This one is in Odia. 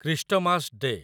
Christmas day